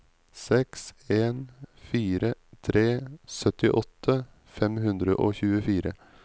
seks en fire tre syttiåtte fem hundre og tjuefire